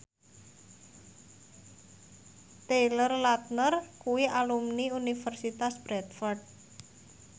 Taylor Lautner kuwi alumni Universitas Bradford